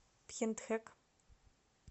пхентхэк